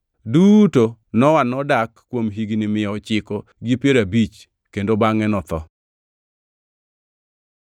Duto Nowa nodak kuom higni mia ochiko gi piero abich kendo bangʼe notho.